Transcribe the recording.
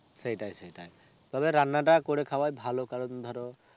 সেটাই সেটাই. তবে রান্নাটা করে খাওয়াই ভালো কারণ ধরো,